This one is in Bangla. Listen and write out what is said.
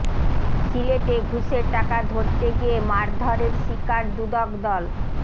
সিলেটে ঘুষের টাকা ধরতে গিয়ে মারধরের শিকার দুদক দল